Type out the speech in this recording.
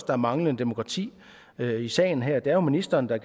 er manglende demokrati i sagen her det er jo ministeren der